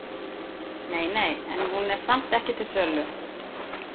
Nei, nei, en hún er samt ekki til sölu.